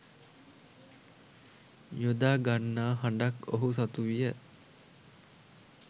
යොදා ගන්නා හඬක් ඔහු සතුවිය.